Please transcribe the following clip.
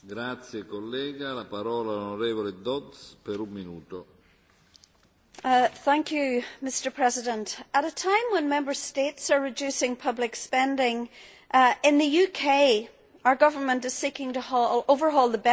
Mr President, at a time when Member States are reducing public spending, in the UK our government is seeking to overhaul the benefits system to make work pay more.